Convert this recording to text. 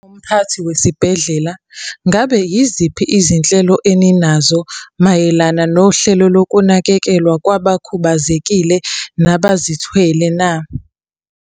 Mphathi wesibhedlela, ngabe yiziphi izinhlelo eninazo mayelana nohlelo lokunakekelwa kwabakhubazekile nabazithwele na?